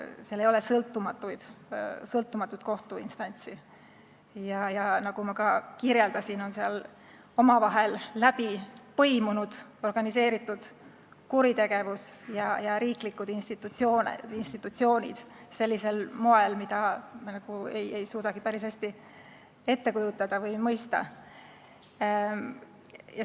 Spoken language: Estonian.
Seal ei ole sõltumatut kohtuinstantsi ja nagu ma ka kirjeldasin, on seal organiseeritud kuritegevus ja riiklikud institutsioonid omavahel läbi põimunud sellisel moel, mida meie ei suudagi päris hästi ette kujutada või mõista.